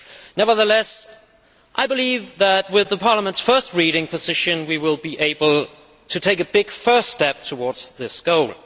Nevertheless, I believe that with the Parliament's first reading position, we will be able to take a big first step towards this goal.